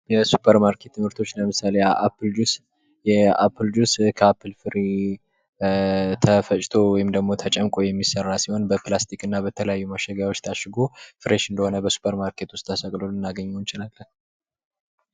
የሱፐር ማርኬት ምርቶች ለምሳሌ አፕል ጁስ፤ የአፕል ጁስ ከአፕል ፍሬ ተፈጭቶ ወይም ተጨምቆ የሚሰራ ሲሆን በፕላስቲክ እና በተለያዩ ማሸጊያዎች ታሽጎ ፍሬሽ እንደሆነ ተሰቅሎ ልናገኝው እንችላለን።